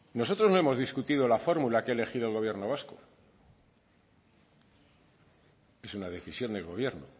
nosotros no hemos discutido la fórmula que ha elegido el gobierno vasco es una decisión del gobierno